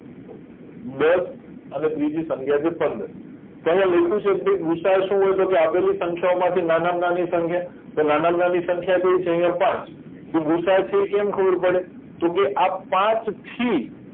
દસ અને ત્રીજી સંખ્યા છે પંદર તો આયા લખ્યું છે કે ભાઈ ગુસાઅ શું હોય તોકે આપેલી સંખ્યાઓ માંથી નાનામાં નાની સંખ્યા તો નાનામાં નાની સંખ્યા કય છે આયા છે પાંચ તો ગુસાઅ છે કેમ ખબર પડે તોકે આ પાંચ થી